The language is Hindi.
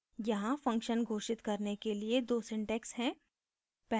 यहाँ function घोषित करने के लिए दो syntaxes हैं